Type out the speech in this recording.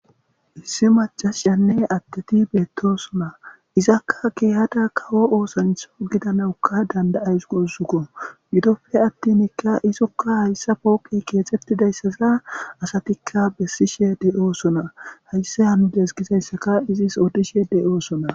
Issi macasiyanne adeti betosona, izakka keehada kawo osancha gidanawuka danda'awusi guussuko , gidope atinka izoka poqey kexetizaysaza izoka besishe de'osona, haysi hanides gizaysaka izis odishe betosona